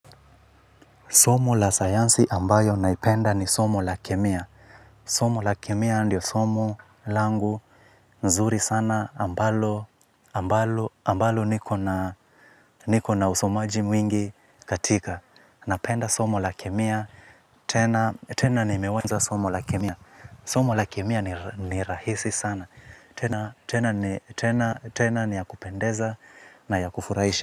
Somo la sayansi ambayo naipenda ni somo la kemia. Somo la kemia andio somo langu, nzuri sana, ambalo, ambalo niko na usomaji mwingi katika. Napenda somo la kemia, tena nimeweza somo la kemia. Somo la kemia ni rahisi sana, tena ni ya kupendeza na ya kufuraisha.